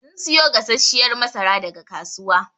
Sun siyo gasashshiyar masara daga kasuwa.